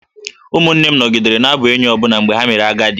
Ụmụ m nọgidere na-abụ enyi ọbụna mgbe ha mere agadi